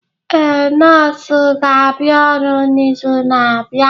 Ee, nọọsụ ga-abịa ọrụ n'izu na-abịa.